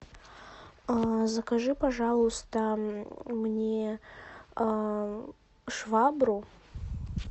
закажи пожалуйста мне швабру